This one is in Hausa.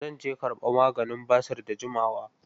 Zan je karɓa maganin basir da jimawa.